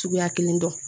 Cogoya kelen dɔn